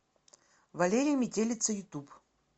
валерия метелица ютуб